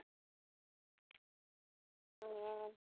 ਹੂ